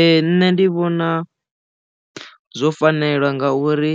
Ee nṋe ndi vhona zwo fanela nga uri